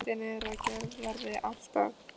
Hugmyndin er að gerð verði allt að